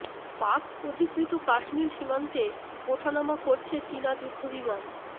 পাক অধিকৃত কাশ্মীর সীমান্তে ওঠানামা করছে চীনা যুদ্ধ বিমান